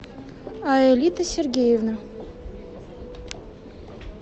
аэлита сергеевна